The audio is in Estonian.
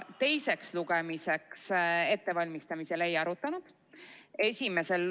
Teiseks lugemiseks ettevalmistamisel me seda ei arutanud.